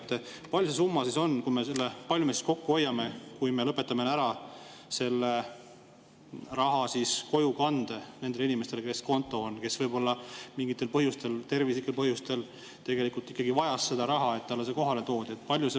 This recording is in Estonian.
Kui suur see summa on, kui palju me siis kokku hoiame, kui me lõpetame ära raha kojukande nendele inimestele, kes võib-olla mingitel põhjustel, näiteks tervislikel põhjustel, tegelikult ikkagi vajavad seda, et see raha neile kohale toodaks?